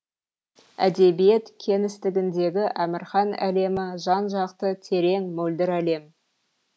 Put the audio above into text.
әдебиет кеңістігіндегі әмірхан әлемі жан жақты терең мөлдір әлем